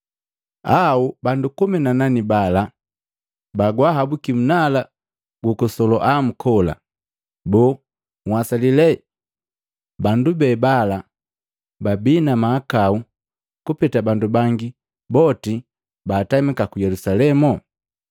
Au bandu komi na nane bala bagwaahabuki nnala ku Soloamu kola? Boo nhwasali lee bandu be bala babii na mahakau kupeta bandu bangi boti baatamika ku Yelusalemu?